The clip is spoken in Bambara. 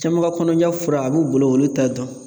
Caman ka kɔnɔja fura a b'u bolo olu t'a dɔn.